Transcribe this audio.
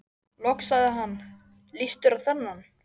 Loks sagði hann: Líst þér á þennan?